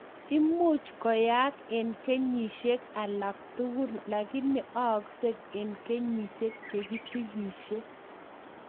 Muuch koaak eng kenyishek alak tugul lakini aaksei eng kenyishek chekisigishe